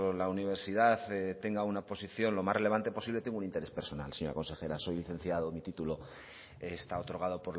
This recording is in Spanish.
la universidad tenga una posición lo más relevante posible tengo un interés personal señora consejera soy licenciado mi título está otorgado